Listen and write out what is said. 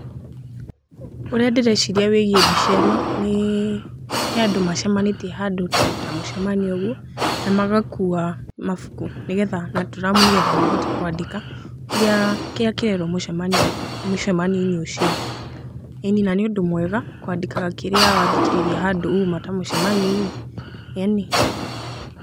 Ũrĩa ndĩreciria wĩgiĩ mbica ĩno, nĩ andũ macemanĩtie handũ ta mũcemanio ũguo, na magakuua mabuku nĩgetha na tũramu nĩgetha mahote kwandĩka, kĩrĩa kĩrĩa kĩrerwo mũcemanio mũcemanio-inĩ ũcio. ĩĩni, na nĩ ũndũ mwega kwandĩka kĩrĩa wathikĩrĩria handũ uuma ta mũcemanio-inĩ ĩĩni.